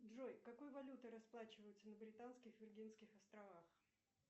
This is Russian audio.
джой какой валютой расплачиваются на британских виргинских островах